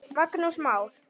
Magnús Már.